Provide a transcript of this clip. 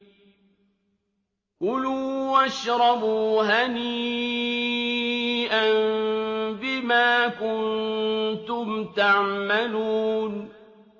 كُلُوا وَاشْرَبُوا هَنِيئًا بِمَا كُنتُمْ تَعْمَلُونَ